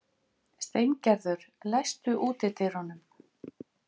Steingerður, læstu útidyrunum.